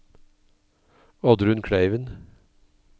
Oddrun Kleiven